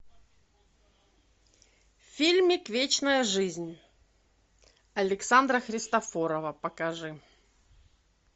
фильмик вечная жизнь александра христофорова покажи